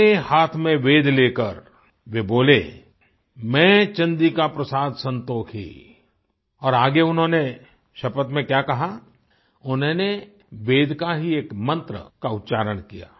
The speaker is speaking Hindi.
अपने हाथ में वेद लेकर वे बोले मैं चन्द्रिका प्रसाद संतोखी और आगे उन्होंने शपथ में क्या कहा उन्होंने वेद का ही एक मंत्र का उच्चारण किया